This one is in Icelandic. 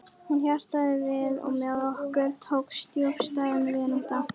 Hún hjarnaði við og með okkur tókst djúpstæð vinátta.